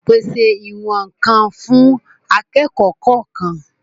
Pèse ìwọ̀n-ǹkan fún akẹ́kọ̀ọ́ kọ̀ọ̀kan